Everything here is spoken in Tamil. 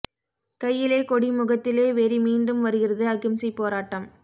கையிலே கொடி முகத்திலே வெறி மீண்டும் வருகிறது அகிம்சை போராட்டம்